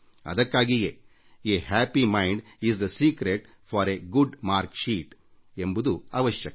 ಅದಕ್ಕಾಗಿಯೇ ಸಂತುಷ್ಟ ಮನಸ್ಥಿತಿಯೇ ಹೆಚ್ಚು ಅಂಕ ಗಳಿಕೆಯ ಗುಟ್ಟು ಎಂಬುದು ತಿಳಿಯುವುದು ಅವಶ್ಯಕ